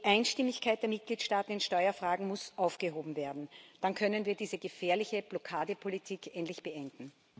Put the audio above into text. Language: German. Die Einstimmigkeit der Mitgliedstaaten in Steuerfragen muss aufgehoben werden, dann können wir diese gefährliche Blockadepolitik endlich beenden.